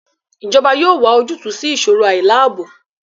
Ijọba yoo wa ojutu si iṣoro ailaabo